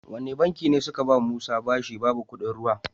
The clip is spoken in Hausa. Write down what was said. Wani banki ne suka bawa musa bashi babu kuɗin ruwa?